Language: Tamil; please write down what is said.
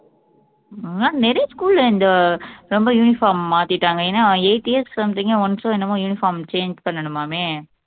ஆஹ் நிறைய school ல இந்த ரொம்ப uniform மாத்திட்டாங்க ஏன்னா eight years something once ஓ என்னமோ uniform change பண்ணணுமாமே